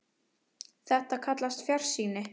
Þetta er kallað fjarsýni.